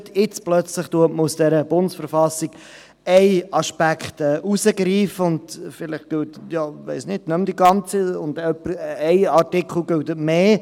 Jetzt greift man plötzlich einen Aspekt aus der BV heraus und vielleicht – ich weiss nicht – gilt nicht mehr die ganze und ein Artikel gilt mehr.